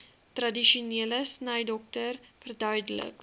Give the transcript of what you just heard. tradisionele snydokter verduidelik